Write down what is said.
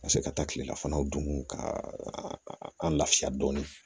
Ka se ka taa kilelafanaw dun ka an lafiya dɔɔni